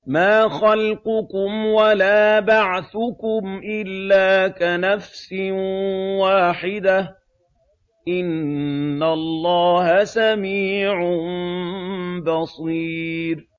مَّا خَلْقُكُمْ وَلَا بَعْثُكُمْ إِلَّا كَنَفْسٍ وَاحِدَةٍ ۗ إِنَّ اللَّهَ سَمِيعٌ بَصِيرٌ